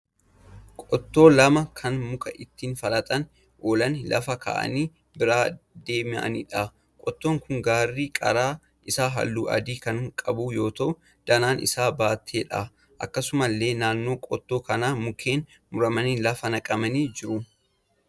Qottoo lama kan muka ittiin falaxaa oolanii lafa ka'anii biraa deemaniidha. Qottoon kun garri qara isaa halluu adii kan qabu yoo ta'u danaan isaa batteedha. Akkasumallee naannoo qottoo kanaa mukeen muramanii lafa naqamanii jru.